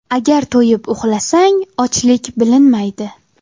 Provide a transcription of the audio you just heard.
Agar to‘yib uxlasang, ochlik bilinmaydi.